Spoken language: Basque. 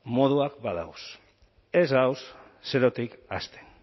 moduak badagoz ez gagoz zerotik hasten